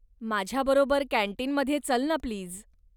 माझ्याबरोबर कॅंटीनमध्ये चल ना प्लीज?